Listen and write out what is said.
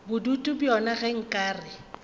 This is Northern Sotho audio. bodutu bjona ge nka re